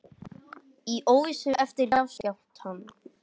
Í óvissu eftir jarðskjálftann